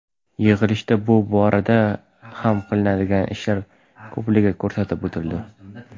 Yig‘ilishda bu borada ham qilinadigan ishlar ko‘pligi ko‘rsatib o‘tildi.